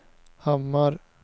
Hammar